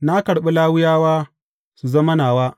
Na karɓi Lawiyawa su zama nawa.